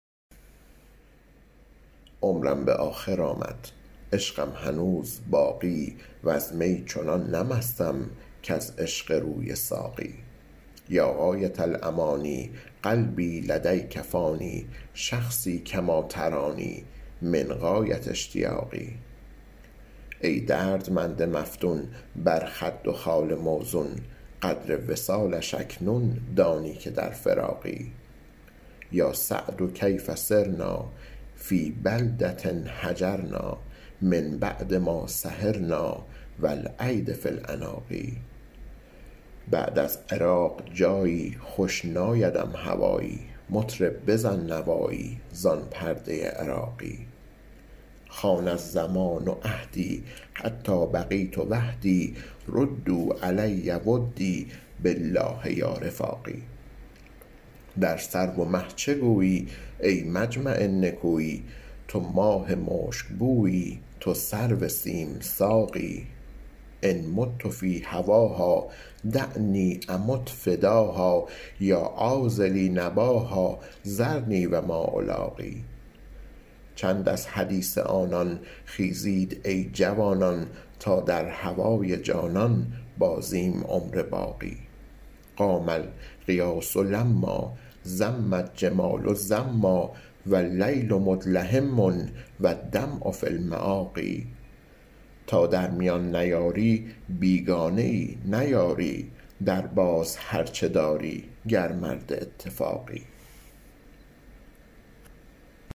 عمرم به آخر آمد عشقم هنوز باقی وز می چنان نه مستم کز عشق روی ساقی یا غایة الأمانی قلبی لدیک فانی شخصی کما ترانی من غایة اشتیاقی ای دردمند مفتون بر خد و خال موزون قدر وصالش اکنون دانی که در فراقی یا سعد کیف صرنا فی بلدة هجرنا من بعد ما سهرنا و الایدی فی العناق بعد از عراق جایی خوش نایدم هوایی مطرب بزن نوایی زان پرده عراقی خان الزمان عهدی حتی بقیت وحدی ردوا علی ودی بالله یا رفاقی در سرو و مه چه گویی ای مجمع نکویی تو ماه مشکبویی تو سرو سیم ساقی ان مت فی هواها دعنی امت فداها یا عاذلی نباها ذرنی و ما الاقی چند از حدیث آنان خیزید ای جوانان تا در هوای جانان بازیم عمر باقی قام الغیاث لما زم الجمال زما و اللیل مدلهما و الدمع فی المآقی تا در میان نیاری بیگانه ای نه یاری درباز هر چه داری گر مرد اتفاقی